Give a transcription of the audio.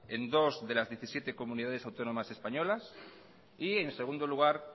en dos de las diecisiete comunidades autónomas españolas y en segundo lugar